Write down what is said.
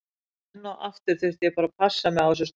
Enn og aftur þurfti ég bara að passa mig á þessu sterka.